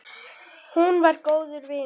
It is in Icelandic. Hún var góður vinur.